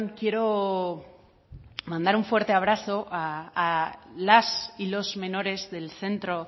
quiero mandar un fuerte abrazo a las y los menores del centro